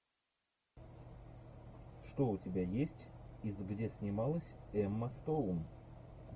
что у тебя есть из где снималась эмма стоун